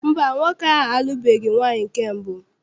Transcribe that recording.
Mba, nwoke ahụ alụbeghi nwaanyị nke mbụ.